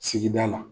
Sigida la